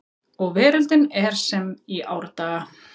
Og veröldin er sem í árdaga